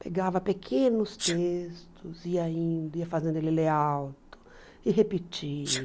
Pegava pequenos textos, ia indo, ia fazendo ele ler alto e repetir.